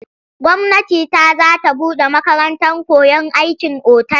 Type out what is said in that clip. Gwamnati ta za ta buɗe makarantar koyon aikin otal.